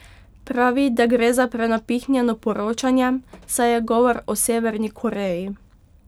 Pravi, da gre za prenapihnjeno poročanje, saj je govor o Severni Koreji.